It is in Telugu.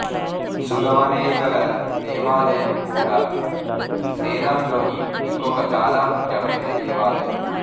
సుగవనేష్వరర్ దేవాలయం కూడా సేలం లోని ఇంకొక చాలా ముఖ్యమైన దేవాలయం